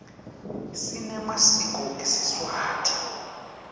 sinemasiko esiswati